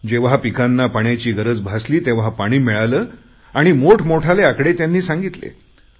जेव्हा पिकांना पाण्याची गरज भासली तेव्हा पाणी मिळाले आणि मोठमोठाले आकडे त्यांनी सांगितले